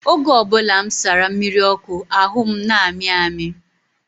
Oge ọ bụla m sara mmiri ọkụ, ahụ m na-amị amị.